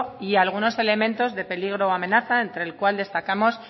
y algunos elementos de peligro o amenaza entre el cual destacamos